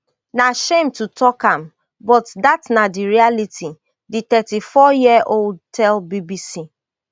na shame to tok am but dat na di reality di thirty-fouryearold tell bbc